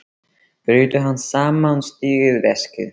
Brýtur hann saman og stingur í veskið.